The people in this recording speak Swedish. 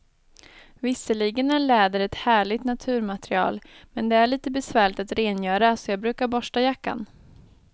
Visserligen är läder ett härligt naturmaterial, men det är lite besvärligt att rengöra, så jag brukar borsta jackan.